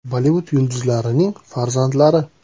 Bollivud yulduzlarining farzandlari.